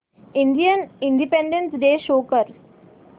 Indian independence day show कर